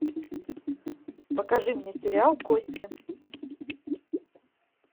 покажи мне сериал кости